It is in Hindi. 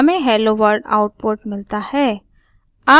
हमें helloworld आउटपुट मिलता है